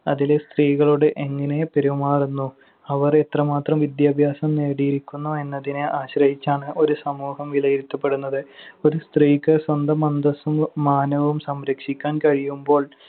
അതിലെ സ്ത്രീകളോട് എങ്ങനെ പെരുമാറുന്നു, അവർ എത്രമാത്രം വിദ്യാഭ്യാസം നേടിയിരിക്കുന്നു എന്നതിനെ ആശ്രയിച്ചാണ് ഒരു സമൂഹം വിലയിരുത്തപ്പെടുന്നത്. ഒരു സ്ത്രീക്ക് സ്വന്തം അന്തസ്സും മാനവും സംരക്ഷിക്കാൻ കഴിയുമ്പോൾ